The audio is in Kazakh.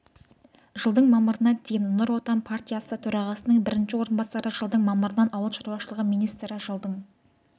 жылдың мамырына дейін нұр отан партиясы төрағасының бірінші орынбасары жылдың мамырынан ауыл шаруашылығы министрі жылдың